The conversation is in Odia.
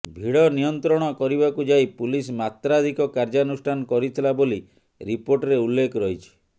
ଭିଡ଼ ନିୟନ୍ତ୍ରଣ କରିବାକୁ ଯାଇ ପୁଲିସ ମାତ୍ରାଧିକ କାର୍ଯ୍ୟାନୁଷ୍ଠାନ କରିଥିଲା ବୋଲି ରିପୋର୍ଟରେ ଉଲ୍ଲେଖ ରହିଛି